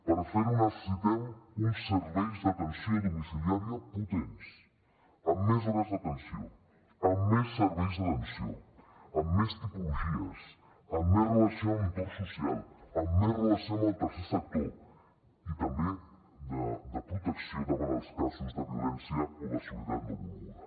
per fer ho necessitem uns serveis d’atenció domiciliària potents amb més hores d’atenció amb més serveis d’atenció amb més tipologies amb més relació amb l’entorn social amb més relació amb el tercer sector i també de protecció davant els casos de violència o de soledat no volguda